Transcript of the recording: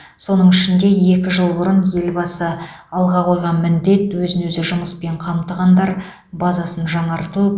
соның ішінде екі жыл бұрын елбасы алға қойған міндет өзін өзі жұмыспен қамтығандар базасын жаңарту